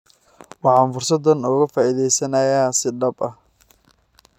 Waxaan fursadan uga faa'iidaysanaynaa si dhab ah."